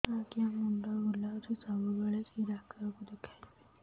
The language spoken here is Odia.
ଆଜ୍ଞା ମୁଣ୍ଡ ବୁଲାଉଛି ସବୁବେଳେ କେ ଡାକ୍ତର କୁ ଦେଖାମି